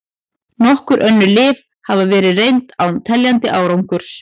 Nokkur önnur lyf hafa verið reynd án teljandi árangurs.